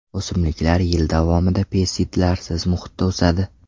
O‘simliklar yil davomida pestitsidlarsiz muhitda o‘sadi.